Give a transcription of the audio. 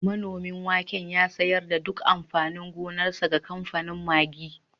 Manomin waken ya sayar da duk amfanin gonarsa ga kamfanin Maggi